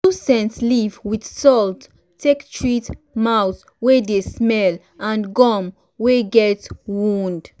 chew scent leaf with salt take treat mouth wey dey smell and gum wey get wound.